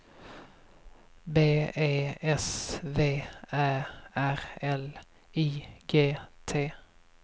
B E S V Ä R L I G T